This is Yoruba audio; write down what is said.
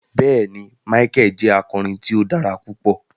Bẹẹni, Micheal jẹ akọrin tí o dára pupọ